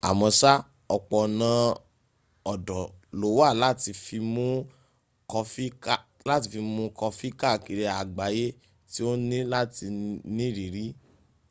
àmọ́sá ọ̀pọ̀ ọ̀nà ọ̀dọ̀ lówà láti fi mún kọfí káàkiri àgbáyé tí o ní láti nírìírí